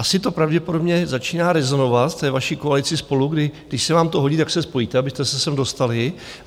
Asi to pravděpodobně začíná rezonovat v té vaší koalici SPOLU, kdy - když se vám to hodí, tak se spojíte, abyste se sem dostali.